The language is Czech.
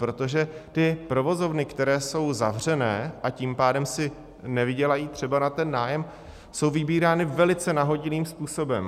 Protože ty provozovny, které jsou zavřené, a tím pádem si nevydělají třeba na ten nájem, jsou vybírány velice nahodilým způsobem.